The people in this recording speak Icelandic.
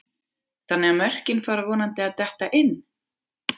Þannig að mörkin fara vonandi að detta inn?